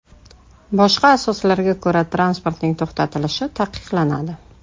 Boshqa asoslarga ko‘ra transportning to‘xtatilishi taqiqlanadi.